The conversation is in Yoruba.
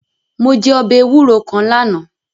Mo je ọbẹ ewuro kan lana